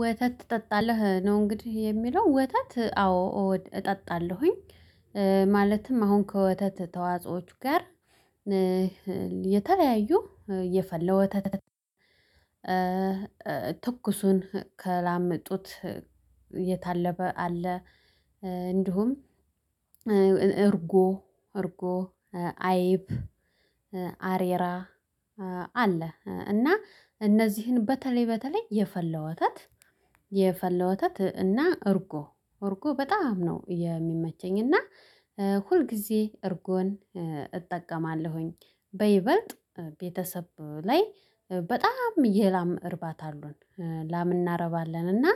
ወተት ትጠጣለህ ነው እንግዲህ የሚለው ወተት አዎ እጠጣለሁኝ። ማለትም አሁን ከወተት ተዋጾዎች ጋር የተለያዩ የፈለው ወተት። ትኩሱን ከላም ጡት የታለበ አለ እንዲሁም እርጎ እርጎ አይብ አሬራ አለ። እና እነዚህን በተለይ በተለይ የፈላ ወተት የፈላ ወተት እና እርጎ እርጎ በጣም ነው የሚመቸኝ እና ሁልጊዜ እርጎን እጠቀማለሁኝ። በይበልጥ ቤተሰብ ላይ በጣም የላም እርባት አሉን ላም እናረባለን። እና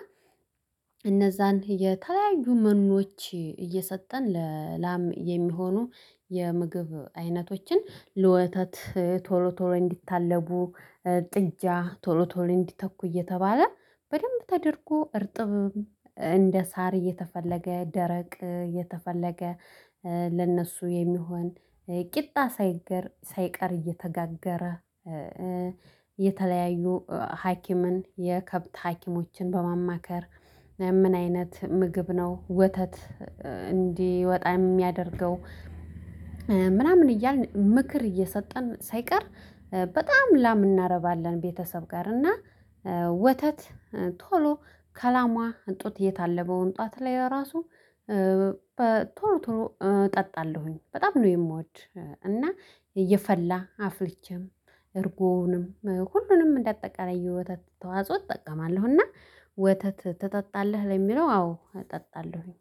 እነዛን የተለያዩ መኖች እየሰጠን ለላም የሚሆኑ የምግብ አይነቶችን ለወተት ቶሎ ቶሎ እንዲታለቡ ጥጃ ቶሎ ቶሎ እንዲተኩ እየተባለ በደንብ ተደርጎ እርጥብ እንደ ሳር እየተፈለገ ደረቅ እየተፈለገ ለእነሱ የሚሆን ቂጣ ሳይቀር ሳይቀር እየተጋገረ። የተለያዩ ሀኪምን የከብት ሀኪሞችን በማማከር ምን አይነት ምግብ ነው ወተት? እንዲወጣ የሚያደርገው ምናምን እያልን ምክር እየሰጠን ሳይቀር በጣም ላም እናረባለን። ቤተሰብ ጋር እና ወተት ቶሎ ከላሟ ጡት የታለበውን ጧት ላይ ራሱ ቶሎ ቶሎ እጠጣለሁኝ በጣም ነው የምወድ። እና እየፈላ አፍልቼም እርጎውንም ሁሉንም እንደ አጠቃላይ የወተት ተዋጽኦ እጠቀማለሁና። ወተት ትጠጣለህ ለሚለው አዎ እጠጣለሁኝ